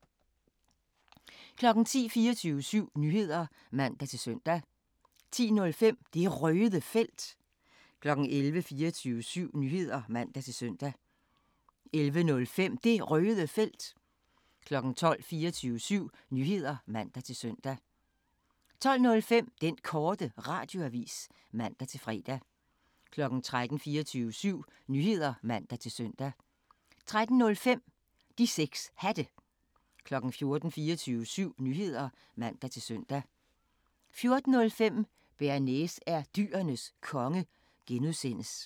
10:00: 24syv Nyheder (man-søn) 10:05: Det Røde Felt 11:00: 24syv Nyheder (man-søn) 11:05: Det Røde Felt 12:00: 24syv Nyheder (man-søn) 12:05: Den Korte Radioavis (man-fre) 13:00: 24syv Nyheder (man-søn) 13:05: De 6 Hatte 14:00: 24syv Nyheder (man-søn) 14:05: Bearnaise er Dyrenes Konge (G)